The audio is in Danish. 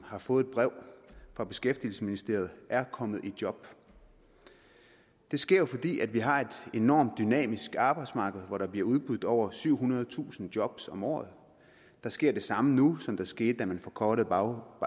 har fået et brev fra beskæftigelsesministeriet er kommet i job det sker jo fordi vi har et enormt dynamisk arbejdsmarked hvor der bliver udbudt over syvhundredetusind job om året der sker det samme nu som der skete da man forkortede